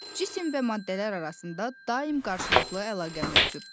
Cisim və maddələr arasında daim qarşılıqlı əlaqə mövcuddur.